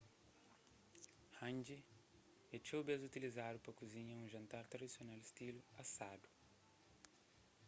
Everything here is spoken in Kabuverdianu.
hangi é txeu bês utilizadu pa kuzinha un jantar tradisional stilu asadu